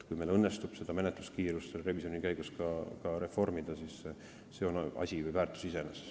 Kui meil õnnestub revisjoni käigus menetluskiirust reformida, siis see on väärtus iseeneses.